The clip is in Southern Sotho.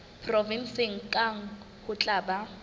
provenseng kang ho tla ba